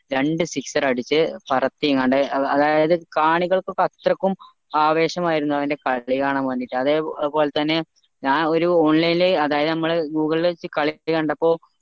രണ്ട് sixer അടിച്ചേ പറത്തിങ്ങാഡ് അത് അതായത് കാണികൾക്ക് അത്രക്കും ആവേശമായിരുന്നു അവൻ്റെ കളി കാണാ വേണ്ടീട്ട് അതെ പോലെത്തന്നെ ഞാൻ ഒരു online ൽ അതായത് നമ്മളെ google ൽ വെച്ച കളിച്ച കണ്ടപ്പോ